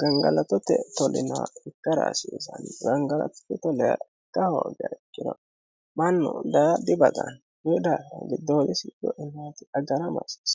ganiggalatotte tolinoha ikkira hasisanno ganiggalatotte tolinoha ikka hoogiha ikkiro mannu daa dibaxxano kunnira giddodisi coinayitti agara hasisanno